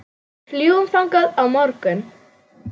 Við fljúgum þangað á morgun.